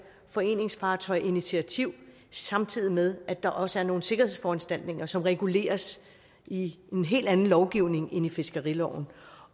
foreningsfartøjsinitiativ samtidig med at der også er nogle sikkerhedsforanstaltninger som reguleres i en helt anden lovgivning end i fiskeriloven